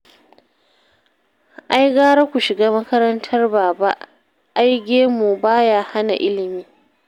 Ai gara ku shiga makarantar Baba, ai gemu ba ya hana ilimi